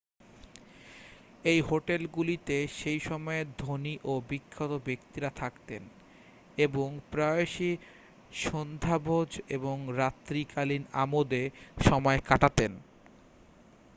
এই হোটেলগুলিতে সেই সময়ের ধনী ও বিখ্যাত ব্যক্তিরা থাকতেন এবং প্রায়শই সান্ধ্যভোজ এবং রাত্রিকালীন আমোদে সময় কাটাতেন